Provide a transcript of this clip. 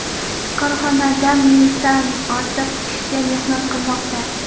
Korxonada mingdan ortiq kishi mehnat qilmoqda.